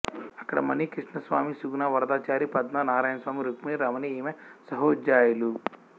అక్కడ మణి కృష్ణస్వామి సుగుణా వరదాచారి పద్మా నారాయణస్వామి రుక్మిణీ రమణి ఈమె సహాధ్యాయులు